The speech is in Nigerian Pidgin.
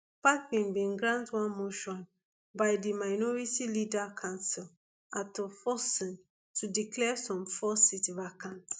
bagbin bin grant one motion by di minority leader cassiel ato forson to declare some four seats vacant